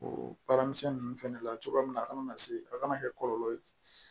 O baara misɛnnin ninnu fɛnɛ la cogoya min a kana na se a kana kɛ kɔlɔlɔ ye